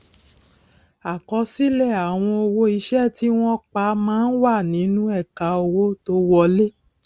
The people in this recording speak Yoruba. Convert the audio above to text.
àkọsílẹ àwọn owó iṣẹ tí wọn pà má n wà nínú ẹka owó tó wọlé